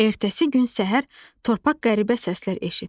Ertəsi gün səhər torpaq qəribə səslər eşitdi.